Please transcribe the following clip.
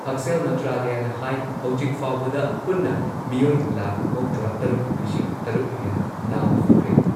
ꯉꯥꯉꯣꯝ ꯀꯤꯔꯟꯅ ꯄꯥꯎ ꯄꯥꯖꯔꯤ ꯑꯍꯥꯟꯕꯗ ꯃꯔꯨꯑꯣꯏꯕ ꯄꯥꯎ ꯄꯥꯖꯔꯤ